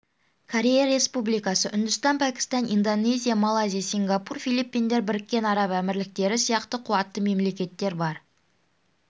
корея республикасы үндістан пәкістан индонезия малайзия сингапур филиппиндер біріккен араб әмірліктері сияқты қуатты мемлекеттер бар